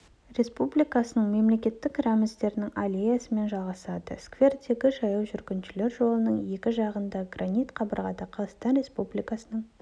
республикасының мемлекеттік рәміздерінің аллеясымен жалғасады сквердегі жаяу жүргіншілер жолының екі жағында гранит қабырғада қазақстан республикасының